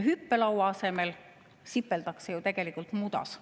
Hüppelaua asemel sipeldakse ju tegelikult mudas.